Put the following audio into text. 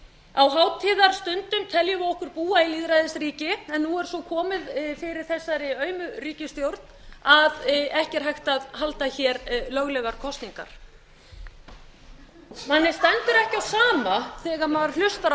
á hátíðarstundum teljum við okkur búa í lýðræðisríki en nú er svo komið fyrir þessari aumu ríkisstjórn að ekki er hægt að halda hér löglegar kosningar manni stendur ekki á sama þegar maður hlustar